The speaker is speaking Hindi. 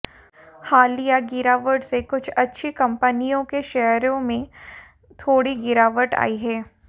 हालिया गिरावट से कुछ अच्छी कंपनियों के शेयरों में थोड़ी गिरावट आई है